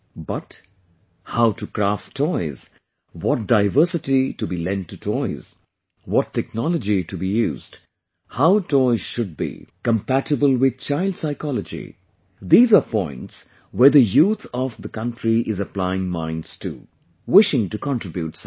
But, how to craft toys, what diversity to be lent to toys, what technology to be used, how toys should be, compatible with child psychology...these are points where the youth of the country is applying minds to...wishing to contribute something